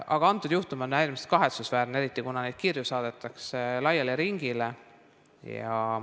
Aga antud juhtum on äärmiselt kahetsusväärne, eriti, kuna neid kirju saadetakse laiale ringile.